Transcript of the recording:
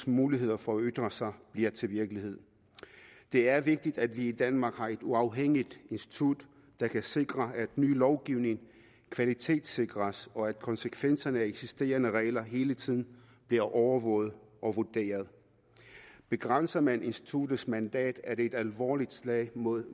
muligheder for at ytre sig bliver til virkelighed det er vigtigt at vi i danmark har et uafhængigt institut der kan sikre at ny lovgivning kvalitetssikres og at konsekvenserne af eksisterende regler hele tiden bliver overvåget og vurderet begrænser man instituttets mandat er det et alvorligt slag mod